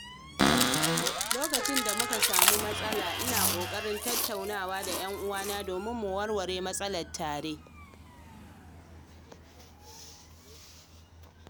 Lokacin da muka samu matsala, ina ƙoƙarin tattauna da 'yan'uwa domin mu warware matsalar tare.